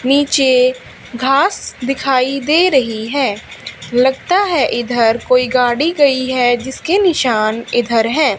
नीचे घास दिखाई दे रही है लगता है इधर कोई गाड़ी गई है जिसके निशान इधर है।